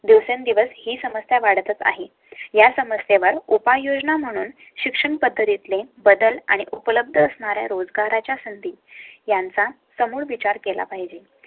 दिवसेंदिवस ही समस्या वाढ तच आहे. या समस्येवर उपाययोजना म्हणून शिक्षण पद्धतीतले बदल आणि उपलब्ध असणारे रोजगारा च्या संधी यांचा समोर विचार केला पाहिजे